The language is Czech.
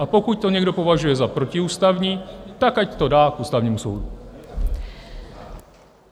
A pokud to někdo považuje za protiústavní, tak ať to dá k Ústavnímu soudu.